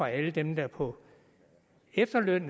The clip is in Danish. alle dem der er på efterløn